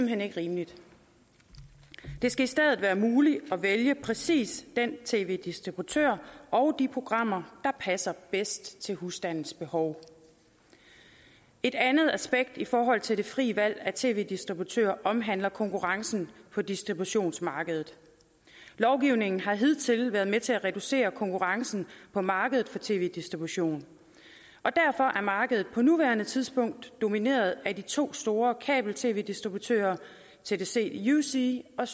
hen ikke rimeligt det skal stadig være muligt at vælge præcis den tv distributør og de programmer der passer bedst til husstandens behov et andet aspekt i forhold til det frie valg af tv distributør omhandler konkurrencen på distributionsmarkedet lovgivningen har hidtil været med til at reducere konkurrencen på markedet for tv distribution og derfor er markedet på nuværende tidspunkt domineret af de to store kabel tv distributører tdc yousee og